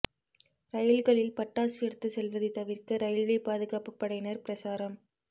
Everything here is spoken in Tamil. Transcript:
ரயில்களில் பட்டாசு எடுத்துச் செல்வதை தவிா்க்க ரயில்வே பாதுகாப்புப் படையினா் பிரசாரம்